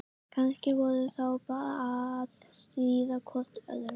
Kannski voru þau bara að stríða hvort öðru.